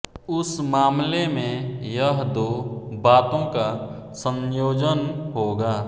उस मामले में यह दो बातों का संयोजन होगा